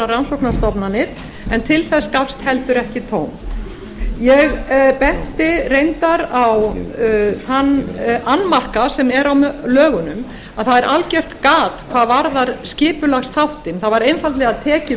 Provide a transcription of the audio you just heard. rannsóknarstofnanir en til þess gafst heldur ekki tóm ég benti reyndar á þann annmarka sem er á lögunum að það er algjört gat hvað varðar skipulagsþáttinn það var einfaldlega tekið